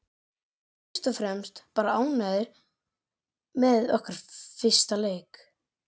Við vorum fyrst og fremst bara ánægðar með okkar leik.